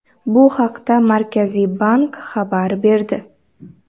Bu haqda Markaziy bank xabar berdi.